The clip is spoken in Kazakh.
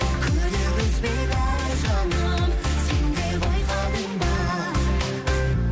күдер үзбейді жаным сен де байқадың ба